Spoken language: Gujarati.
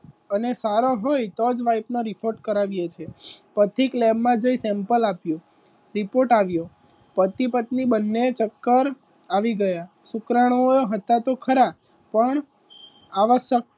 અને સારો હોય તો જ wife નો report કરાવીએ છીએ. report પથિક એ લેબમાં જઈ સેમ્પલ આપ્યું. રિપોર્ટ આવ્યો પતિ પત્ની બંને ચક્કર આવી ગયા શુક્રાણુઓએ હતા તો ખરા પણ આવા સક્ષમતા કરતા અને તરત જ મરી જતા હતા તો ખરા પણ આવા શકતા